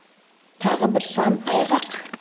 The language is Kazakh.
тағы бір сан айғақ